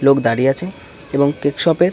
লোক দাঁড়িয়ে আছে এবং ।